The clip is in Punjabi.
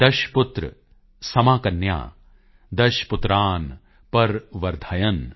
ਦਸ਼ਪੁਤ੍ਰ ਸਮਾਕੰਨਿਆ ਦਸ਼ਪੁਤ੍ਰਾਨ ਪ੍ਰਵਰਧਯਨ